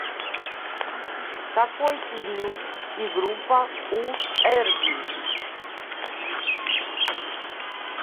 какой период и группа у эрбий